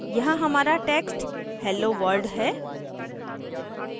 यहाँ हमारा text hello world है